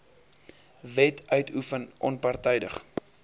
wet uitoefen onpartydig